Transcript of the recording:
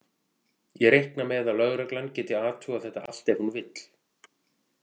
Ég reikna með að lögreglan geti athugað þetta allt ef hún vill.